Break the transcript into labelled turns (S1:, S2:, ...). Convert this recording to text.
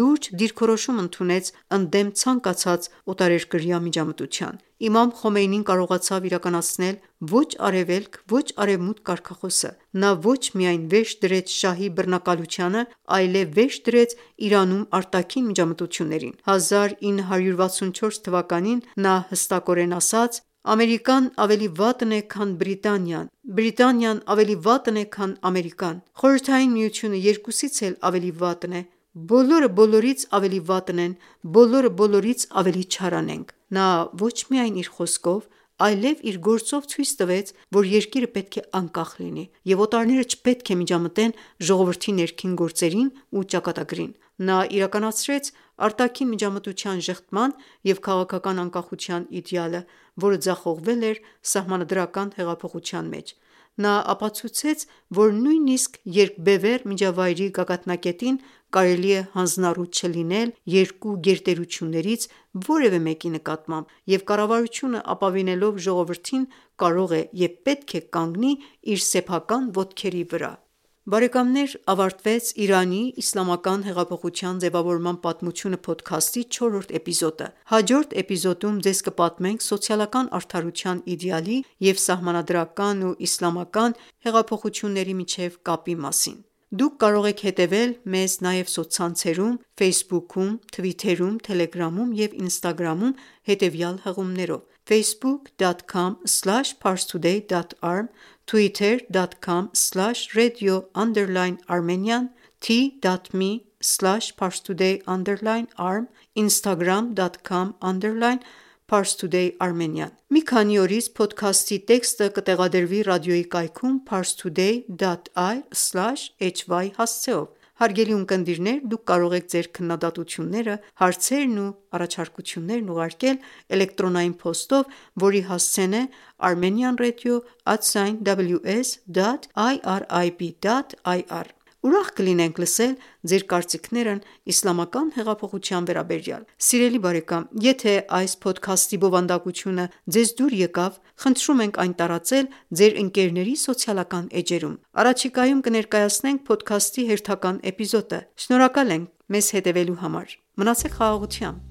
S1: լուրջ դիրքորոշում ընդունեց ընդդեմ ցանկացած օտարերկրյա միջամտության.․․ Իմամ Խոմեյնին կարողացավ իրականացնել ոչ արևելք, ոչ արևմուտք կարգախոսը։ Նա ոչ միայն վերջ դրեց շահի բռնակալությանը, այլեւ վերջ դրեց Իրանում արտաքին միջամտություններին։ 1964 թ. նա հստակ ասաց. «Ամերիկան ավելի վատն է, քան Բրիտանիան, Բրիտանիան ավելի վատն է, քան Ամերիկան»: Խորհրդային միությունը երկուսից էլ ավելի վատն է, բոլորը բոլորից ավելի վատն են, բոլորը բորորից ավելի չարանենգ»։ Նա ոչ միայն իր խոսքով, այլև իր գործով ցույց տվեց, որ երկիրը պետք է անկախ լինի, և օտարները չպետք է միջամտեն ժողովրդի ներքին գործերին ու ճակատագրին։ Նա իրականացրեց արտաքին միջամտության ժխտման և քաղաքական անկախության իդեալը, որը ձախողվել էր սահմանադրական հեղափոխության մեջ։ Նա ապացուցեց, որ նույնիսկ երկբևեռ միջավայրի գագաթնակետին կարելի է հանձնառու չլինել երկու գերտերություններից որևէ մեկի նկատմամբ, և կառավարությունը ապավինելով ժողովրդին կարող է և պետք է կանգնի իր սեփական ոտքերի վրա։ Ավարտվեց «Իրանի իսլամական հեղափոխության ձևավորման պատմությունը» փոդքասթի չորրորդ էպիզոդը, հաջորդ էպիզոդում ձեզ կպատմենք սոցիալական արդարության իդեալի և սահմանադրական ու իսլամական երկու հեղափոխությունների միջև կապի մասին: Դուք կարող եք հետևել մեզ նաև սոցցանցերում Ֆեյսբուքում, թվիթերում, թելեգրամում և ինստագրամում, հետևյալ հղումներով՝ Մի քանի օրից փոդքասթի տեքստը կտեղադրվի ռադիոյի կայքում՝ parstoady.ir/hy հասցեով: Հարգելի ունկնդիրներ, դուք կարող եք Ձեր քննադատությունները, հարցերն ու առաջարկություններն ուղարկել էլեկտրոնային փոստով, որի հասցեն է Armenianradio@ ws.irib.ir Ուրախ կլինենք լսել ձեր կարծիքներն իսլամական հեղափոխության վերաբերյալ։ Եթե այս փոդքաստի բովանդակությունը ձեզ հետաքրքիր էր, խնդրում ենք այն տարածել ձեր ընկերների սոցիալական էջերում։ Առաջիկայում կներկայացնենք փոդքասթի հերթական էպիզոդը։ Շնորհակալ եմ մեզ հետևելու համար։ Մնացեք խաղաղությամբ։